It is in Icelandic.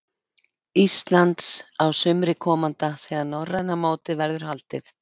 Íslands á sumri komanda þegar norræna mótið verður haldið.